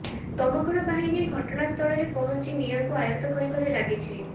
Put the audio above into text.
ଦମକଳ ବାହିନୀ ଘଟଣାସ୍ଥଳରେ ପହଞ୍ଚି ନିଆଁକୁ ଆୟତ କରିବାରେ ଲାଗିଛି